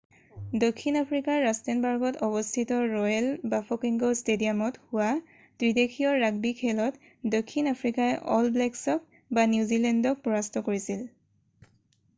দক্ষিণ আফ্ৰিকাৰ ৰাস্তেনবাৰ্গত অৱস্থিত ৰয়েল বাফ'কেঙ্গ ষ্টেডিয়ামত হোৱা ত্ৰিদেশীয় ৰাগবি খেলত দক্ষিণ আফ্ৰিকাই অল ব্লেকছক নিউজিলেণ্ড পৰাস্ত কৰিছিল।